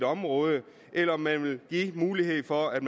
områder eller om man vil give mulighed for at